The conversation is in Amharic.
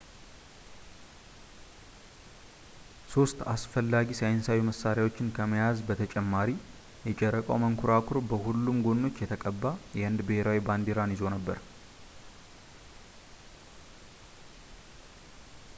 ሶስት አስፈላጊ ሳይንሳዊ መሳሪያዎችን ከመያዝ በተጨማሪ የጨረቃው መንኮራኩር በሁሉም ጎኖች የተቀባ የህንድ ብሔራዊ ባንዲራን ይዞ ነበር